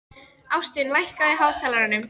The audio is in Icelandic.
Ástvin, lækkaðu í hátalaranum.